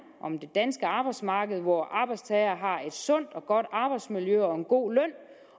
danske arbejdsmarked hvor arbejdstager har et sundt og godt arbejdsmiljø og en god løn